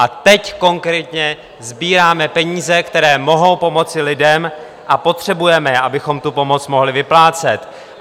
A teď konkrétně sbíráme peníze, které mohou pomoci lidem, a potřebujeme je, abychom tu pomoc mohli vyplácet.